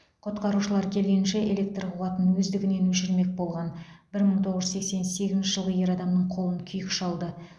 құтқарушылар келгенше электр қуатын өздігінен өшірмек болған бір мың тоғыз жүз сексен сегізінші жылғы ер адамның қолын күйік шалды